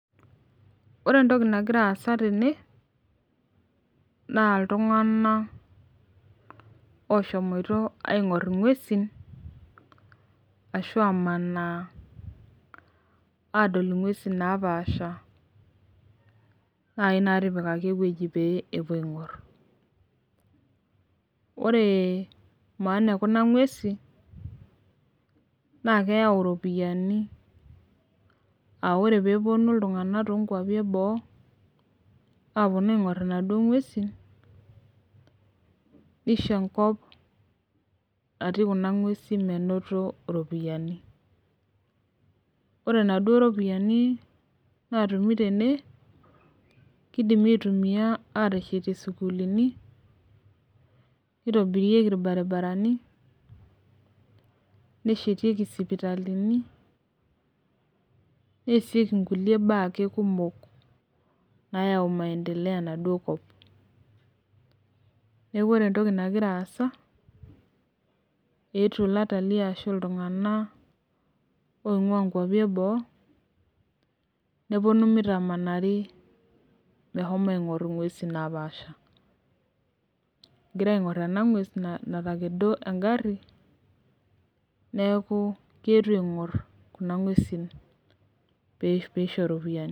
Ore entoki nagira aasa tene, naa iltung'ana oshomoito aing'or ing'uesi ashu amanaa adol ing'uesin napaasha naaji natipikaki ewueji pee epuoi aing'or. Ore maana e kuna ng'uesi naa eyau iropiani, aa ore peewuonu iltung'ana toonkwapi e boo awuonu aing'or inaduo ng'uesi, neisho enkop natii kuna ng'uesin menoto iropiani. Ore naduo ropiani naatumi tene, keidimi aitumiya ateshetie isukulini, neitobirieki ilbarabarani, neshetieki isipitalini, neasieki nkulie baa ake kumok naayau maindileo enaduo kop. Neaku ore entoki nagira aasa naa keetuo ilatalii ashu iltung'ana oing'ua inkwapi e boo, nepuonu meitamanari meshomo aing'or ing'uesin napaasha. Egira aing'or ena ng'ues natekedo engari neaku keetuo aing'or kuna ng'uesi peeishoru iropiani.